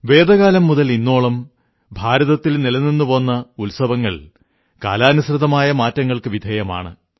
വേദകാലം മുതൽ ഇന്നോളം ഭാരതത്തിൽ നിലനിന്നുപോന്ന ഉത്സവങ്ങൾ കാലാനുസൃതമായ മാറ്റങ്ങൾക്കു വിധേയമാണ്